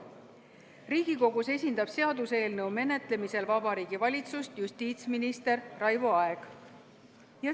Riigikogus esindab seaduseelnõu menetlemisel Vabariigi Valitsust justiitsminister Raivo Aeg.